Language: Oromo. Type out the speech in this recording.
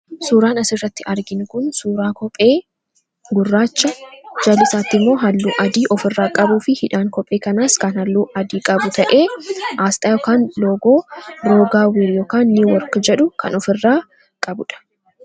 Suuraan asirratti arginu kun suuraa kophee gurraacha jala isaatti immoo halluu adii of irraa qabuu fi hidhaan kophee kanaas kan halluu adii qabu ta'ee aasxaa yokaan logoo biroogaawir yookaan nii woorki jedhu kan of irraa qabudha.